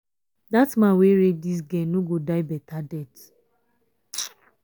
dat man wey rape dis girl no go die beta death